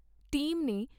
team ਨੇ